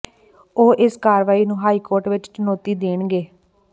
ਉਹ ਇਸ ਕਾਰਵਾਈ ਨੂੰ ਹਾਈ ਕੋਰਟ ਵਿੱਚ ਚੁਣੌਤੀ ਦੇਣਗੇ